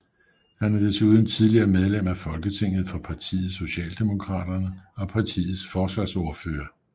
Han er desuden tidligere medlem af Folketinget for partiet Socialdemokraterne og partiets forsvarsordfører